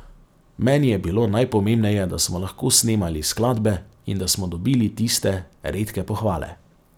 Meni je bilo najpomembneje, da smo lahko snemali skladbe in da smo dobili tiste redke pohvale.